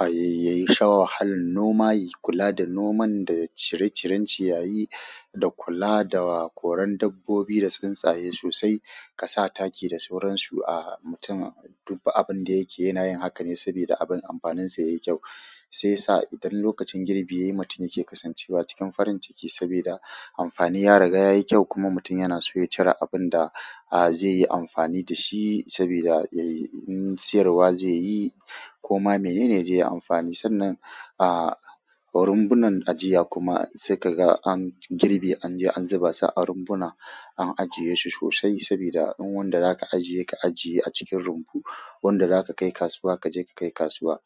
yayi sha wahalar noma, yai kula da noman da cire ciren ciyayi da kula da koren dabbobi da tsuntsaye sosai. Ka sa taki da sauransu a mutum. Dubba abin da yake yana yin haka ne sabida abin amfanin sa yayi kyau. Sai sa idan lokacin girbi yayi, mutum yake kasancewa cikin farin ciki sabida amfani ya riga yayi kyau kuma mutum yana so ya cire abunda da a zai yi amfani da shi sabida ya yi in siyarwa zai yi ko ma menene ya je yai amfani sannan a rumbunan ajiya kuma sai ka ga an girbi an je an zuba sa a rumbuna an ajiye shu shoshai sabida in wanda zaka ajiye ka ajiye a cikin rumbu, wanda zaka kai kasuwa kaje ka kai kasuwa.